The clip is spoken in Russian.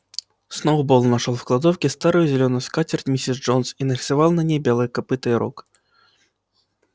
сноуболл нашёл в кладовке старую зелёную скатерть миссис джонс и нарисовал на ней белое копыто и рог